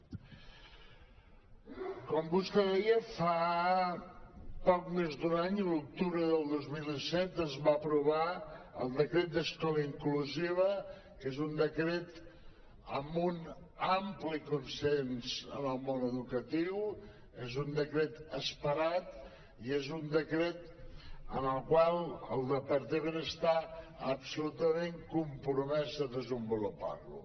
com vostè deia fa poc més d’un any l’octubre del dos mil disset es va aprovar el decret d’escola inclusiva que és un decret amb un ampli consens en el món educatiu és un decret esperat i és un decret amb el qual el departament està absolutament compro·mès a desenvolupar·lo